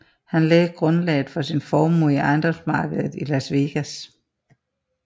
Han lagde grundlaget for sin formue i ejendomsmarkedet i Las Vegas